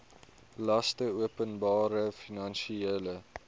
laste openbare finansiële